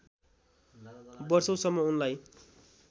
वषौँसम्म उनलाई